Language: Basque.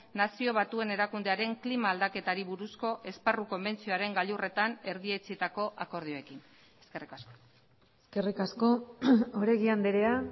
nazio batuen erakundearen klima aldaketari buruzko esparru konbentzioaren gailurretan erdietsitako akordioekin eskerrik asko eskerrik asko oregi andrea